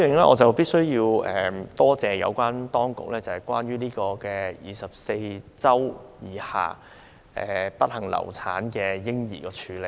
我必須感謝有關當局對受孕24周以下不幸流產嬰兒的處理。